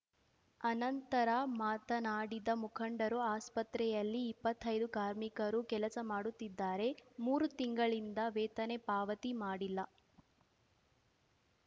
ಅನಂತರ ಮಾತನಾಡಿದ ಮುಖಂಡರು ಆಸ್ಪತ್ರೆಯಲ್ಲಿ ಇಪ್ಪತ್ತೈದು ಕಾರ್ಮಿಕರು ಕೆಲಸ ಮಾಡುತ್ತಿದ್ದಾರೆ ಮೂರು ತಿಂಗಳಿಂದ ವೇತನೆ ಪಾವತಿ ಮಾಡಿಲ್ಲ